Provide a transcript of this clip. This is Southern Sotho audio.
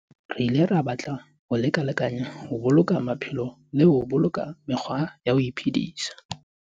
Re ile ra batla ho lekalekanyana ho boloka maphelo le ho boloka mekgwa ya ho iphedisa.